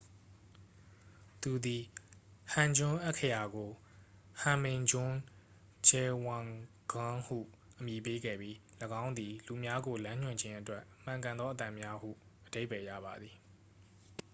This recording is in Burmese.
"သူသည် ဟန်ဂျွန်း အက္ခရာကို ဟွန်မင်ဂျွန်းဂျဲဝန်ဂမ်း ဟု အမည်ပေးခဲ့ပြီး၊ ၎င်းသည် "လူများကိုလမ်းညွှန်ခြင်းအတွက်မှန်ကန်သောအသံများ" ဟု အဓိပ္ပါယ်ရပါသည်။